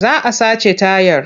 Za a sace tayar.